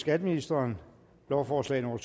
skatteministeren lovforslag nummer